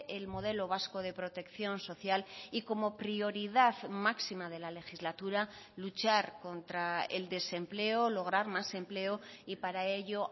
el modelo vasco de protección social y como prioridad máxima de la legislatura luchar contra el desempleo lograr más empleo y para ello